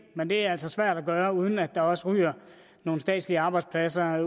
men det er altså svært at gøre uden at der også ryger nogle statslige arbejdspladser